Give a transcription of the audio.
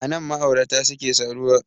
Anan ma'aurata suke saduwa